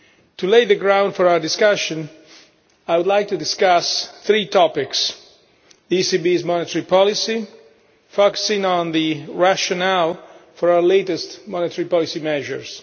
To lay the ground for our discussion, I would like to discuss three topics the ECB's monetary policy, focusing on the rationale for our latest monetary policy measures